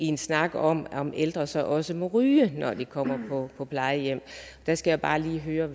en snak om om ældre så også må ryge når de kommer på plejehjem og jeg skal bare lige høre